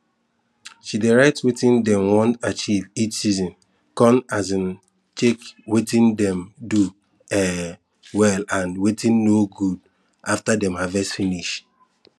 she dey write wetin dem want achieve each season con um check wetin dem do um well and wetin no good after dem harvest finish